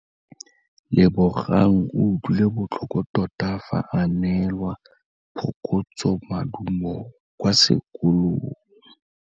Lebogang o utlwile botlhoko tota fa a neelwa phokotsômaduô kwa sekolong.